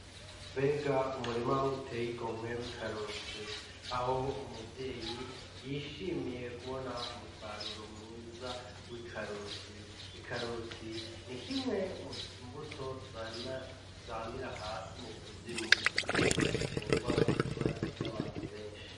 Mbega umurima uteye igomwe w'ikaroti aho umuvyeyi yishimiye kubona umusaruro mwiza w'ikaroti. Ikaroti nikimwe mumbuto zamira hasi mukuzimu ariko zikundwa kurya n'abantu benshi.